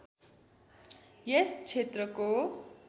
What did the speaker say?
यस क्षेत्रको